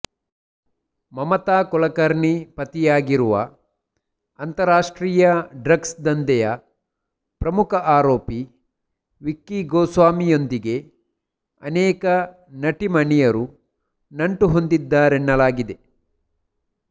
ಮಮತಾ ಕುಲಕರ್ಣಿ ಪತಿಯಾಗಿರುವ ಅಂತರರಾಷ್ಟ್ರೀಯ ಡ್ರಗ್ಸ್ ದಂಧೆಯ ಪ್ರಮುಖ ಆರೋಪಿ ವಿಕ್ಕಿ ಗೋಸ್ವಾಮಿ ಯೊಂದಿಗೆ ಅನೇಕ ನಟಿಮಣಿಯರು ನಂಟು ಹೊಂದಿದ್ದರೆನ್ನಲಾಗಿದೆ